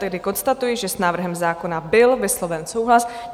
Tedy konstatuji, že s návrhem zákona byl vysloven souhlas.